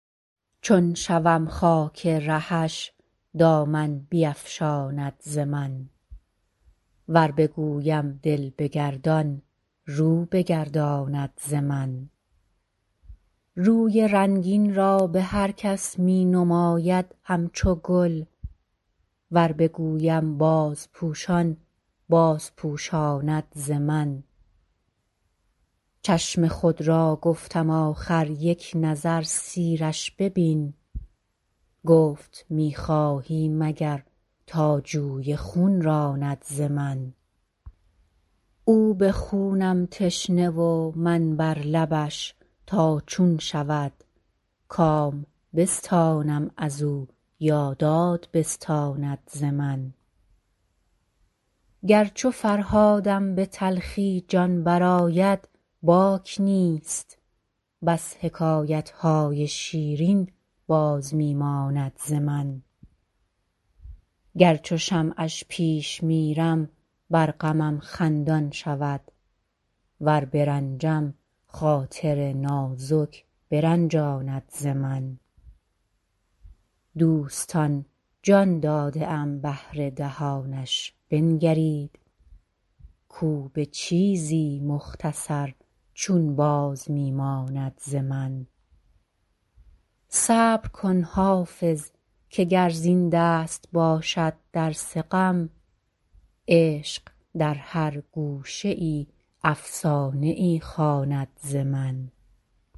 چون شوم خاک رهش دامن بیفشاند ز من ور بگویم دل بگردان رو بگرداند ز من روی رنگین را به هر کس می نماید همچو گل ور بگویم بازپوشان بازپوشاند ز من چشم خود را گفتم آخر یک نظر سیرش ببین گفت می خواهی مگر تا جوی خون راند ز من او به خونم تشنه و من بر لبش تا چون شود کام بستانم از او یا داد بستاند ز من گر چو فرهادم به تلخی جان برآید باک نیست بس حکایت های شیرین باز می ماند ز من گر چو شمعش پیش میرم بر غمم خندان شود ور برنجم خاطر نازک برنجاند ز من دوستان جان داده ام بهر دهانش بنگرید کو به چیزی مختصر چون باز می ماند ز من صبر کن حافظ که گر زین دست باشد درس غم عشق در هر گوشه ای افسانه ای خواند ز من